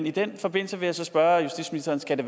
i den forbindelse vil jeg så spørge justitsministeren skal det